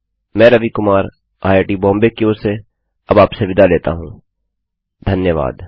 मैं रवि कुमार आईआईटीबॉम्बे की ओर से अब आपसे विदा लेता हूँ धन्यवाद